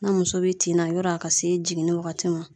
Na muso bɛ tin na, yania ka se jiginni wagati ma.